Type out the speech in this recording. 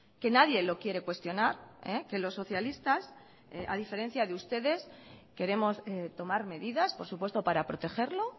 que nadie lo quiere cuestionar que los socialistas a diferencia de ustedes queremos tomar medidas por supuesto para protegerlo